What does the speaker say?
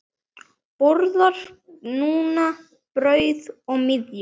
Borðar núna brauð og myrju.